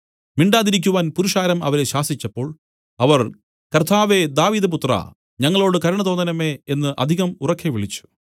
മിണ്ടാതിരിക്കുവാൻ പുരുഷാരം അവരെ ശാസിച്ചപ്പോൾ അവർ കർത്താവേ ദാവീദ് പുത്രാ ഞങ്ങളോടു കരുണ തോന്നേണമേ എന്നു അധികം ഉറക്കെ വിളിച്ചു